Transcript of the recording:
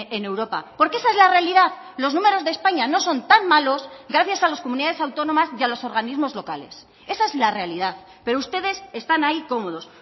en europa porque esa es la realidad los números de españa no son tan malos gracias a las comunidades autónomas y a los organismos locales esa es la realidad pero ustedes están ahí cómodos